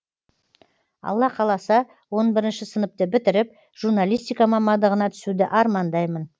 алла қаласа он бірінші сыныпты бітіріп журналистика мамандығына түсуді армандаймын